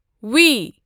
V